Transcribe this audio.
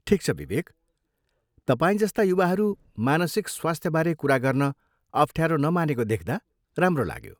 ठिक छ विवेक, तपाईँ जस्ता युवाहरू मानसिक स्वास्थ्यबारे कुरा गर्न अफ्ठ्यारो नमानेको देख्दा राम्रो लाग्यो।